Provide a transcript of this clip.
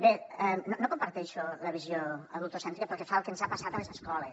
bé no comparteixo la visió adultocèntrica pel que fa al que ens ha passat a les escoles